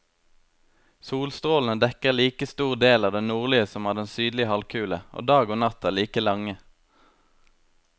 Solstrålene dekker like stor del av den nordlige som av den sydlige halvkule, og dag og natt er like lange.